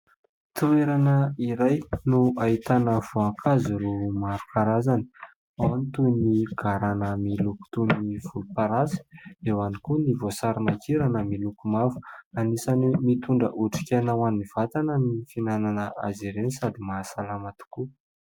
Toerana iray no ahitana voankazo maro karazany ao toy ny garana miloko volomparasy, eo ihany koa ny voasariman-kirana miloko mavo ; anisany mitondra otrikaina ho an'ny vatana ny fihinanana azy ireny sady mahasalama tokoa.